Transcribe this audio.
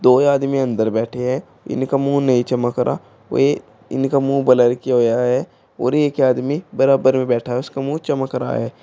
दो आदमी अंदर बैठे हैं इनका मुंह नहीं चमक रहा और ये इनका मुंह ब्लर किया हुआ है और एक आदमी बराबर में बैठा है उसका मुंह चमक रहा है।